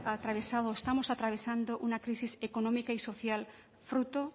atravesado o estamos atravesando una crisis económica y social fruto